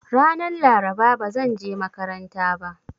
Ranan Laraba ba zanje makaranta ba.